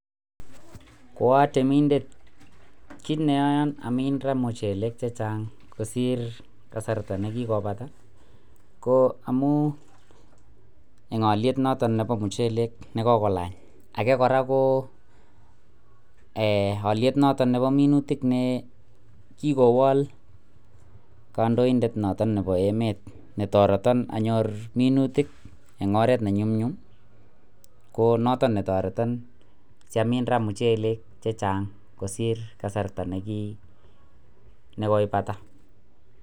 Ko atemindet kit neyoon amin raa mochelek chechang kosir kasarta nekikobata ko amun en oliet noton nebo mochelek nekokolany ake kora ko oliet noton nebo minutik nekikowal kandoindet noton nebo emet netoreton anyor minutik en oret nenyumnyum ko noton netoreton siamnin raa muchelek chechang kosir kasarta neki nekoibata